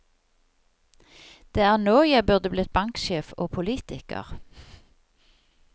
Det er nå jeg burde blitt banksjef og politiker.